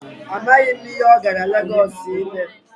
Amaghị m ihe ọ gara Legọọsụ ime.